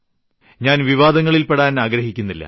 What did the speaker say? ഞാൻ വിവാദങ്ങളിൽപ്പെടാൻ ആഗ്രഹിക്കുന്നില്ല